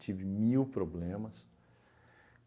Tive mil problemas.